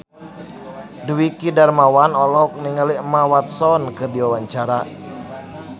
Dwiki Darmawan olohok ningali Emma Watson keur diwawancara